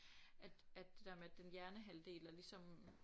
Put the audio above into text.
At at det der med at den hjernehalvdel der ligesom